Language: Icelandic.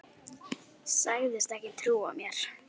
Sagðist ekki trúa mér.